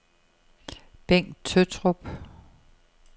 Bengt Tøttrup